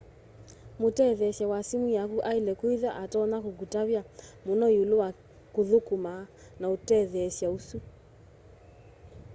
mũtetheesya wa sĩmũ yakũ aĩle kwĩtha atonya kũkũtavya mũno ĩũlũ wa kũthũkũma na ũtetheesya ũsũ